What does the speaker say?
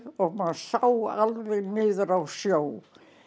og maður sá alveg niður á sjó